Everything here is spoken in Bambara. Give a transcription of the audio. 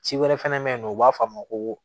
Ci wɛrɛ fɛnɛ bɛ yen nɔ u b'a fɔ a ma ko